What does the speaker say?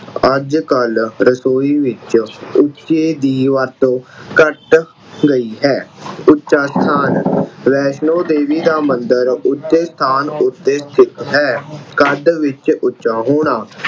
ਅੱਜ ਕੱਲ ਰਸੋਈ ਵਿੱਚ ਉੱਚੇ ਦੀ ਵਰਤੋਂ ਘੱਟ ਗਈ ਹੈ। ਉੱਚਾ ਸਥਾਨ ਵੈਸ਼ਨੋ ਦੇਵੀ ਦਾ ਮੰਦਰ ਉੱਚੇ ਸਥਾਨ ਉੱਤੇ ਸਥਿਤ ਹੈ। ਕੱਦ ਵਿੱਚ ਉੱਚਾ ਹੋਣਾ